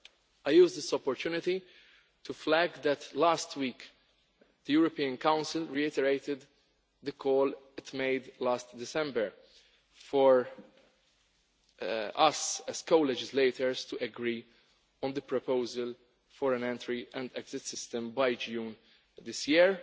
I use this opportunity to highlight the fact that last week the European Council reiterated the call it made last December for us, as co legislators, to agree on the proposal for an entry and exit system by June of this year.